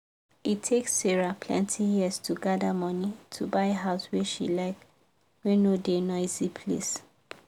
e take sarah plenty years to gather money to buy house wey she like wey no da noisy place